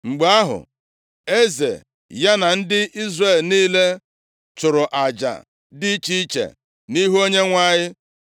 Mgbe ahụ, eze ya na ndị Izrel niile chụrụ aja dị iche iche nʼihu Onyenwe anyị.